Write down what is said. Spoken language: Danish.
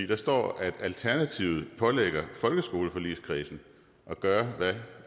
der står at alternativet pålægger folkeskoleforligskredsen at gøre hvad